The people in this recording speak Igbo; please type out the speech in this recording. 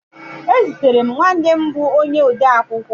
Ezutere m nwanne m bụ onye odeakwụkwọ